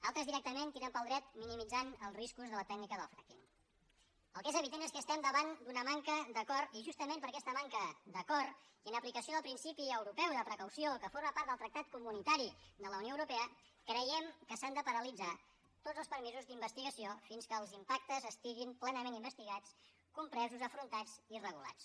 altres directament tiren pel dret i minimitzen els riscos de la tècnica del frackingel que és evident és que estem davant d’una manca d’acord i justament per aquesta manca d’acord i en aplicació del principi europeu de precaució que forma part del tractat comunitari de la unió europea creiem que s’han de paralitzar tots els permisos d’investigació fins que els impactes estiguin plenament investigats compresos afrontats i regulats